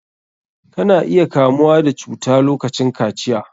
Ka na iya kamuwa da cuta lokacin kaciya.